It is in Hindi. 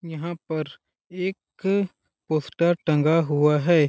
यहाँ पर एक पोस्टर टंगा हुआ हैं।